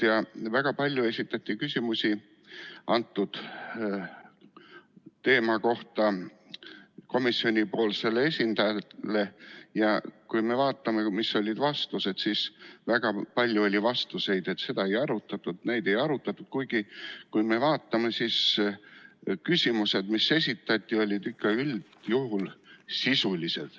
Väga palju esitati komisjoni esindajale küsimusi ja kui me vaatame, mis olid vastused, siis näeme, et väga palju oli vastuseid, et seda ei arutatud, kuigi kui me vaatame esitatud küsimusi, siis need olid ikka üldjuhul sisulised.